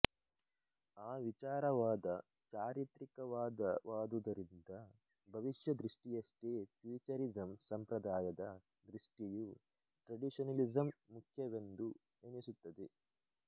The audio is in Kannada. ಆ ವಿಚಾರವಾದ ಚಾರಿತ್ರಿಕವಾದವಾದುದರಿಂದ ಭವಿಷ್ಯದೃಷ್ಟಿಯಷ್ಟೇ ಫ್ಯೂಚರಿಸಂ ಸಂಪ್ರದಾಯದ ದೃಷ್ಟಿಯೂ ಟ್ರೆಡಿಷನಲಿಸಂ ಮುಖ್ಯವೆಂದು ಎಣಿಸುತ್ತದೆ